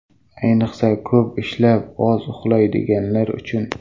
Ayniqsa, ko‘p ishlab, oz uxlaydiganlar uchun.